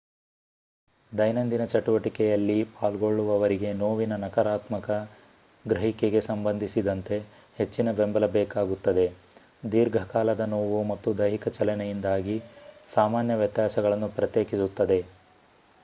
ದೈನಂದಿನ ಚಟುವಟಿಕೆಯಲ್ಲಿ ಪಾಲ್ಗೊಳ್ಳುವವರಿಗೆ ನೋವಿನ ನಕಾರಾತ್ಮಕ ಗ್ರಹಿಕೆಗೆ ಸಂಬಂಧಿಸಿದಂತೆ ಹೆಚ್ಚಿನ ಬೆಂಬಲ ಬೇಕಾಗುತ್ತದೆ ದೀರ್ಘಕಾಲದ ನೋವು ಮತ್ತು ದೈಹಿಕ ಚಲನೆಯಿಂದಾದ ಸಾಮಾನ್ಯ ವ್ಯತ್ಯಾಸಗಳನ್ನು ಪ್ರತ್ಯೇಕಿಸುತ್ತದೆ